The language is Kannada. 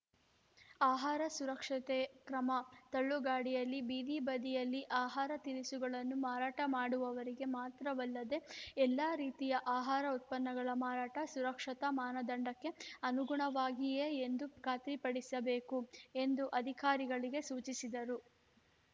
ಆಹಾರ ಸುರಕ್ಷತೆಗೆ ಕ್ರಮ ತಳ್ಳುಗಾಡಿಯಲ್ಲಿ ಬೀದಿಬದಿಯಲ್ಲಿ ಆಹಾರ ತಿನಿಸುಗಳನ್ನು ಮಾರಾಟ ಮಾಡುವವರು ಮಾತ್ರವಲ್ಲದೆ ಎಲ್ಲ ರೀತಿಯ ಆಹಾರ ಉತ್ಪನ್ನಗಳ ಮಾರಾಟ ಸುರಕ್ಷತಾ ಮಾನದಂಡಕ್ಕೆ ಅನುಗುಣವಾಗಿಯೇ ಎಂದು ಖಾತ್ರಿಪಡಿಸಬೇಕು ಎಂದು ಅಧಿಕಾರಿಗಳಿಗೆ ಸೂಚಿಸಿದರು